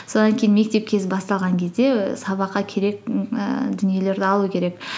содан кейін мектеп кезі басталған кезде ііі сабаққа керек ііі дүниелерді алу керек